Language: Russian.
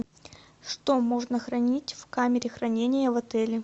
что можно хранить в камере хранения в отеле